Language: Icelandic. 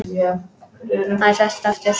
Hann sest aftur.